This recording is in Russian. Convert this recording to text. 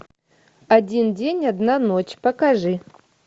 один день одна ночь покажи